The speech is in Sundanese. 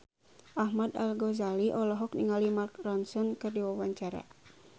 Ahmad Al-Ghazali olohok ningali Mark Ronson keur diwawancara